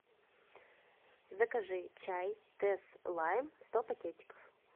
закажи чай тесс лайм сто пакетиков